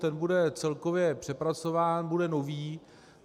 Ten bude celkově přepracován, bude nový.